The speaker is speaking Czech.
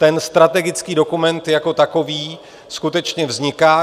Ten strategický dokument jako takový skutečně vzniká.